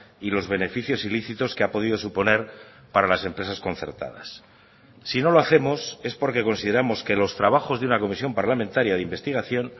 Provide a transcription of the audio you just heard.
y los beneficios ilícitos que ha podido suponer para las empresas concertadas si no lo hacemos es porque consideramos que los trabajos de una comisión parlamentaria de investigación